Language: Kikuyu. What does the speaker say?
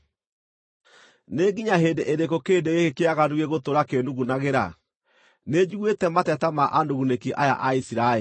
“Nĩ nginya hĩndĩ ĩrĩkũ kĩrĩndĩ gĩkĩ kĩaganu gĩgũtũũra kĩĩnugunagĩra? Nĩnjiguĩte mateta ma anugunĩki aya a Isiraeli.